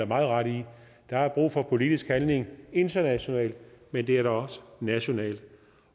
meget ret i der er brug for politisk handling internationalt men det er der også nationalt